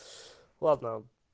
ладно